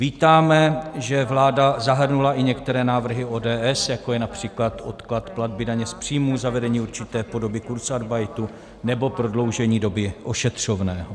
Vítáme, že vláda zahrnula i některé návrhy ODS, jako je například odklad platby daně z příjmů, zavedení určité podoby kurzarbeitu nebo prodloužení doby ošetřovného.